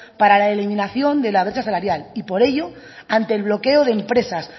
para la eliminación de la brecha salarial y por ello ante el bloqueo de empresas